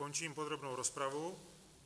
Končím podrobnou rozpravu.